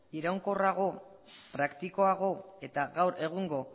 iraunkorrago praktikoago eta gaur egungo